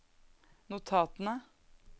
notatene